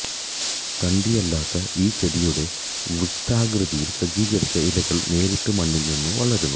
തണ്ടില്ലാത്ത ഈ ചെടിയുടെ വൃത്താകൃതിയിൽ സജ്ജീകരിച്ച ഇലകൾ നേരിട്ട് മണ്ണിൽ നിന്ന് വളരുന്നു